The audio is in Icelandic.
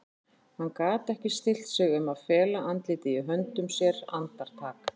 Hann gat ekki stillt sig um að fela andlitið í höndum sér andartak.